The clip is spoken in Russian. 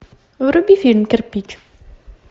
вруби фильм кирпич